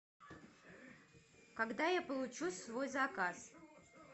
когда я получу свой заказ